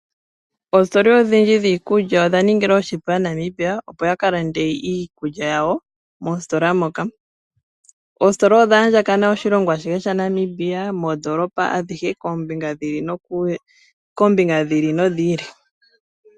Ositola odhindji dhiikulya odha ningilwa